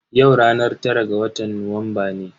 Yau ranar tara ga watan Nuwamba ne.